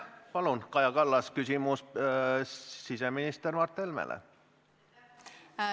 Palun, Kaja Kallas, küsimus siseminister Mart Helmele!